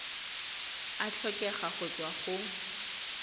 a tlhokega go tswa go